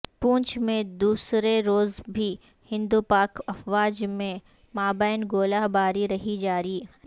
پونچھ میں دوسر روز بھی ہندوپاک افواج کے مابین گولہ باری رہی جاری